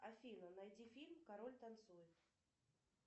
афина найди фильм король танцует